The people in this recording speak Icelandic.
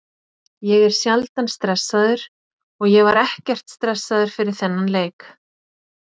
Ég er sjaldan stressaður og ég var ekkert stressaður fyrir þennan leik.